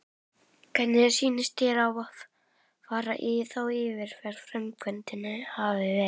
Hvernig sýnist þér eftir þá yfirferð að framkvæmdin hafi verið?